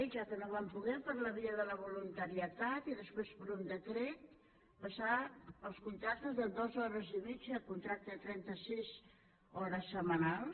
ja que no vam poder per la via de la voluntarietat i després per un decret pas sar els contractes de dues hores i mitja a contracte de trenta sis hores setmanals